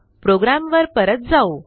प्रोग्रॅमवर परत जाऊ